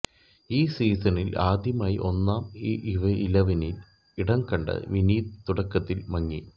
ഈ സീസണിൽ ആദ്യമായി ഒന്നാം ഇലവനിൽ ഇടംകണ്ട വിനീത് തുടക്കത്തിൽ മങ്ങി